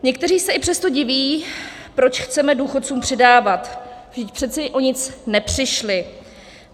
Někteří se i přesto diví, proč chceme důchodcům přidávat, vždyť přece o nic nepřišli.